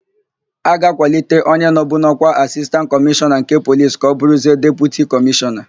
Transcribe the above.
A ga-akwalite onye nọbu n'ọ́kwá Asistantị Kọmishọna nke Polis ka ọ bụrụzie Deputi Kọmishọna.